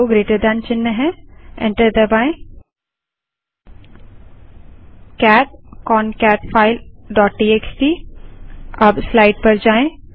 cat concatfile dot TXT अब slide पर जाएँ